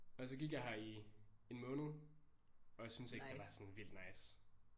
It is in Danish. Og så gik jeg her i en måned og jeg syntes ikke det var sådan vildt nice